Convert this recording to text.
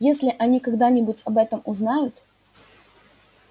если они когда-нибудь об этом узнают